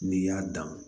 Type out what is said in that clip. N'i y'a dan